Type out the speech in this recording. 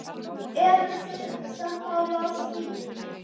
Eruð þið sammála því?